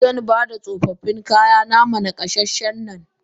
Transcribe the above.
Xanbada tsofaffin kayana ma nakasasshen nan.